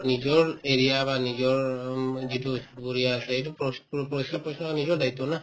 নিজৰ area বা নিজৰ উম যিটো চুবুৰীয়া আছে এইটো প্ৰৰিষ‍প্ৰ পৰিষ্কাৰ কৰা নিজৰ দায়িত্ব না